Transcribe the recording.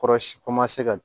Kɔrɔsi komanse ka